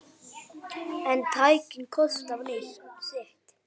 En tæknin kostar sitt.